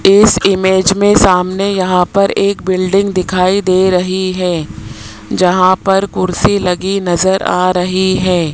इस इमेज में सामने यहां पर एक बिल्डिंग दिखाई दे रही है जहां पर कुर्सी लगी नजर आ रही है।